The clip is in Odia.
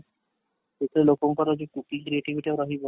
କେତେ ଲୋକଙ୍କର ଯେ କିଛି creativity ଆଉ ରହିବନି